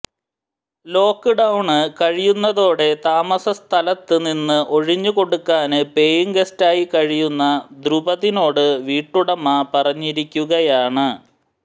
lock down കഴിയുന്നതോടെ താമസ സ്ഥലത്ത് നിന്ന് ഒഴിഞ്ഞു കൊടുക്കാന് പേയിംഗ് ഗസ്റ്റായി കഴിയുന്ന ദ്രുപതിനോട് വീട്ടുടമ പറഞ്ഞിരിക്കുകയാണ്